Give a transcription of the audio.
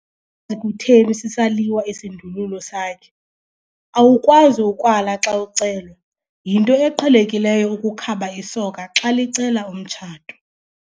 kutheni sisaliwa isindululo sakhe. awukwazi ukwala xa ucelwa, yinto eqhelekileyo ukukhaba isoka xa licela umtshato